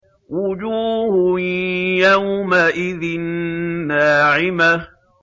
وُجُوهٌ يَوْمَئِذٍ نَّاعِمَةٌ